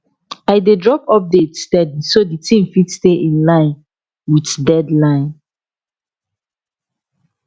i dey drop updates steady so d team fit stay in line with deadline